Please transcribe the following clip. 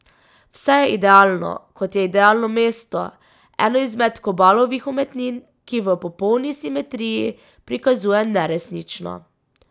Vse je idealno, kot je idealno mesto, ena izmed Kobalovih umetnin, ki v popolni simetriji prikazuje neresnično.